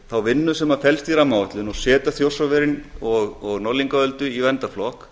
þá vinnu sem felst í rammaáætlun og setja þjórsárver og norðlingaöldu í verndarflokk